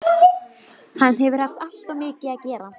Hann hefur haft alltof mikið að gera